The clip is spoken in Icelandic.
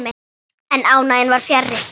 En ánægjan var fjarri.